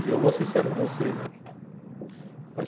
E eu vou ser sério com vocês, óh, faz